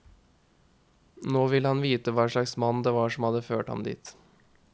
Nå ville han vite hva slags mann det var som hadde ført ham dit.